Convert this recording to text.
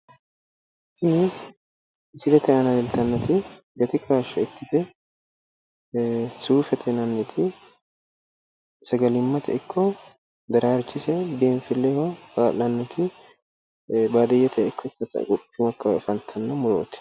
Tini misilete aana leeltanniti gati kaashsho ikkite suufete yinanniti sagalimmate ikko daraarchise biinfilleho kaa'lannoti baadiyyete ikko katamu akkawaawera afantanno murooti